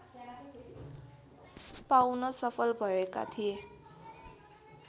पाउन सफल भएका थिए